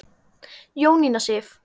Jónína Sif.